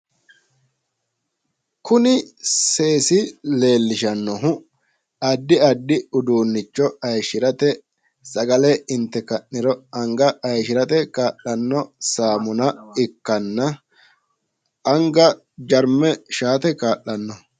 Kuni seesi leellishannohu addi addi uduunnicho hayiishshirate sagale inte ka'niro anga hayiishshirate kaa'lanno saamuna ikkanna anga jarme shaate kaa'lanno